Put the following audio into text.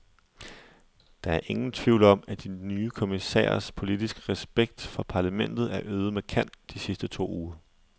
Der er ingen tvivl om, at de nye kommissærers politiske respekt for parlamentet er øget markant de sidste to uger.